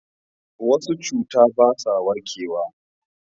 wasu cuta ba sa warkewa